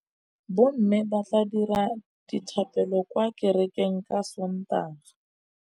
Bommê ba tla dira dithapêlô kwa kerekeng ka Sontaga.